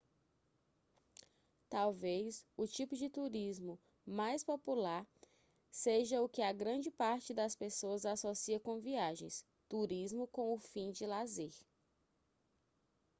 talvez o tipo de turismo mais popular seja o que a grande parte das pessoas associa comviagens turismo com o fim de lazer